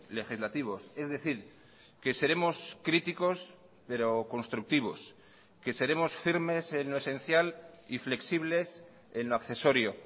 legislativos es decir que seremos críticos pero constructivos que seremos firmes en lo esencial y flexibles en lo accesorio